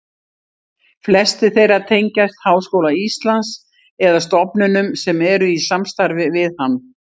Flestir þeirra tengjast Háskóla Íslands eða stofnunum sem eru í samstarfi við hann.